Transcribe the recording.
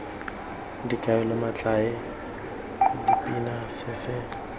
dikaelo metlae dipina se se